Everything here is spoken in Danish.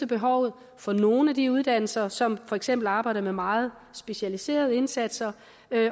behovet for nogle af de uddannelser som for eksempel arbejder med meget specialiserede indsatser